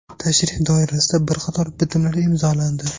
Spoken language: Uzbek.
Tashrif doirasida bir qator bitimlar imzolandi.